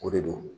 O de don